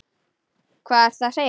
Hvað ertu að segja?